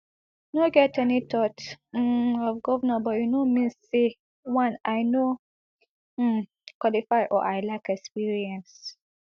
no get any thought um of govnorship but e no mean say one i no um qualify or i lack experience